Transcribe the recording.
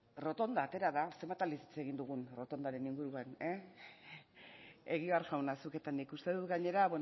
errotondak zenbat aldiz hitz egin dugun errotondaren inguruan egibar jauna zuk eta nik uste dut gainera